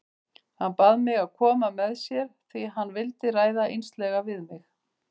Hann bað mig að koma með sér því hann vildi ræða einslega við mig.